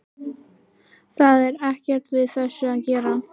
Það er ekkert við þessu að gera.